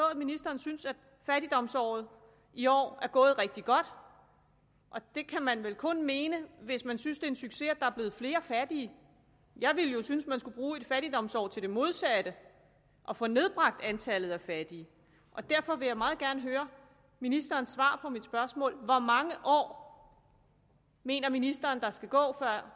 at ministeren synes at fattigdomsåret i år er gået rigtig godt og det kan man vel kun mene hvis man synes en succes at der er blevet flere fattige jeg ville jo synes at man skulle bruge et fattigdomsår til det modsatte og få nedbragt antallet af fattige derfor vil jeg meget gerne høre ministerens svar på mit spørgsmål hvor mange år mener ministeren der skal gå før